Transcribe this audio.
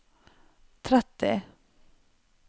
tretti